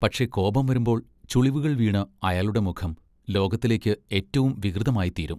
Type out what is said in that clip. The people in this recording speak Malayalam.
പക്ഷെ കോപം വരുമ്പോൾ ചുളിവുകൾ വീണ് അയാളുടെ മുഖം, ലോകത്തിലേക്ക് ഏറ്റവും വികൃതമായിത്തീരും.